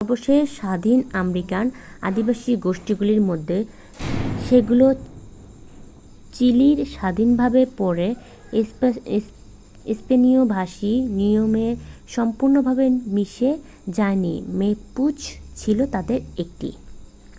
সর্বশেষ স্বাধীন আমেরিকান আদিবাসী গোষ্ঠীগুলির মধ্যে যেগুলো চিলির স্বাধীনতার পরে স্পেনীয় ভাষী নিয়মে সম্পূর্ণভাবে মিশে যায়নি ম্যাপুচ ছিল তাদের একটি